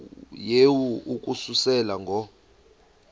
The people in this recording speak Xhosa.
yehu ukususela ngo